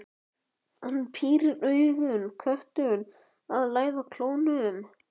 Hann pírir augun, köttur að læða klónum.